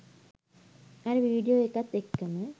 අර වීඩියෝ එකත් එක්කම